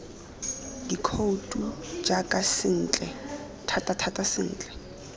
dikhouto jaaka sentle thatathata sentle